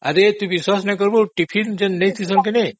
ଆଜି ତୁ ବିଶ୍ୱାସ କରିବୁନି ମୁଁ ଯୋଉ ଟିଫିନ ନେଇଥିଲି